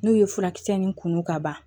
N'u ye furakisɛ nin kumu ka ban